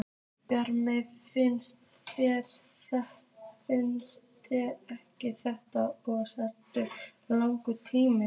Brynja: Finnst þér ekki að þetta sé óþarflega langur tími?